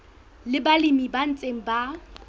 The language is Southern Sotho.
le balemi ba ntseng ba